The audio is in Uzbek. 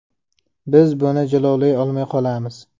Biz buni jilovlay olmay qolamiz.